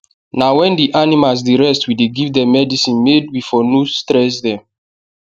na wen the animals dey rest we dey give dem medicine made we for no stress dem